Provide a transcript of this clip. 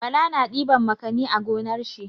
Bala na ɗiban makani a gonar shi.